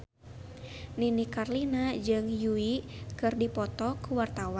Nini Carlina jeung Yui keur dipoto ku wartawan